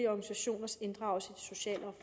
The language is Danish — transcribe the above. organisationers inddragelse i sociale